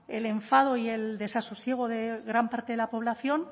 el enfado y el desasosiego de gran parte de la población